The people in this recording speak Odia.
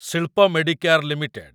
ଶିଳ୍ପ ମେଡିକେୟାର ଲିମିଟେଡ୍